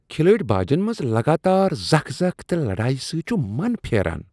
کھلٲڑۍ باجن منٛز لگاتار زکھ زکھ تہٕ لڑایہ سۭتۍ چھُ من پھیران۔